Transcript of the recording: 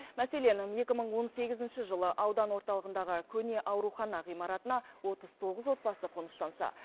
мәселен екі мың он сегізінші жылы аудан орталығындағы көне аурухана ғимаратына отыз тоғыз отбасы қоныстанса